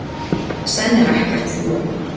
Senn er ekkert sólarlag.